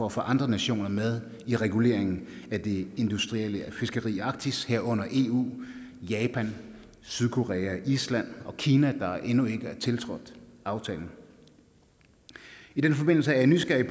at få andre nationer med i reguleringen af det industrielle fiskeri i arktis herunder eu japan sydkorea island og kina der endnu ikke er tiltrådt aftalen i den forbindelse er jeg nysgerrig